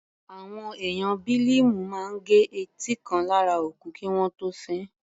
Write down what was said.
Àwọn ẹ̀yà Bílíìmù máa gẹ etí kan lára òkú kí wọ́n tó sin ín.